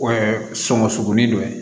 O ye sɔŋɔ suguni dɔ ye